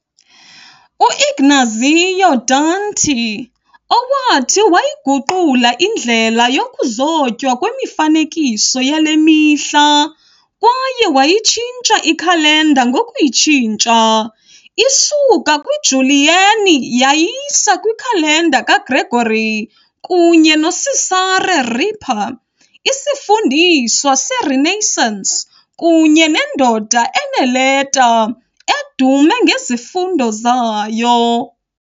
u-Ignazio Danti, owathi wayiguqula indlela yokuzotywa kwemifanekiso yale mihla kwaye wayitshintsha ikhalenda ngokuyitshintsha isuka kwiJulian yayisa kwikhalenda kaGregory kunye noCesare Ripa, isifundiswa seRenaissance kunye nendoda eneeleta, edume ngezifundo zayo.